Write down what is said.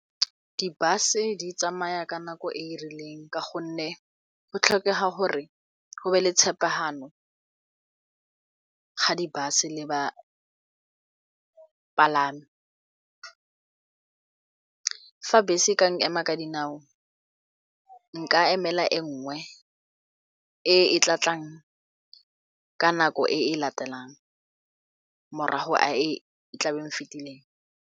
Di-bus-e di tsamaya ka nako e e rileng ka gonne go tlhokega gore go be le tshepagano ga di-bus-e le bapalami. Fa bese e ka nkema ka dinao nka emela e nngwe e e tla tlang ka nako e latelang morago a e e tlabeng e fetileng.